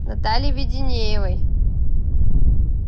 натальей веденеевой